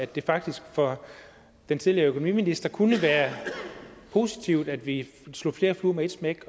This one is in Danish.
det faktisk for den tidligere økonomiminister kunne være positivt at vi slog flere fluer med et smæk